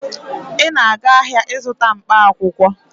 Ị na-aga ahịa ịzụta mkpaakwụkwọ.